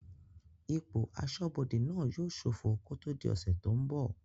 Ipò asọ́bodè náà yóò sófọ kó tó di ọ̀sẹ̀ tó n bọ̀